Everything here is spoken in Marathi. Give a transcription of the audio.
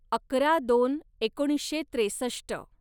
अकरा दोन एकोणीसशे त्रेसष्ट